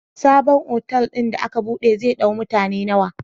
Sabon otal din da aka buɗe zai dau mutane nawa?